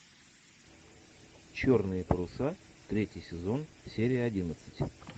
черные паруса третий сезон серия одиннадцать